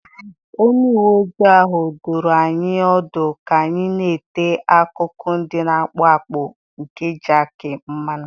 Onye uwe ojii ahụ dụrụ anyị ọdụ ka anyị na-ete akụkụ ndị na-akpụ akpụ nke jakị mmanụ.